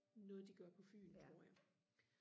noget de gør på fyn tror jeg